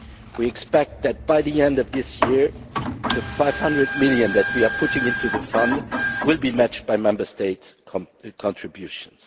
We expect that, by the end of this year, the 500 million that we are putting into the fund will be matched by Member States' contributions.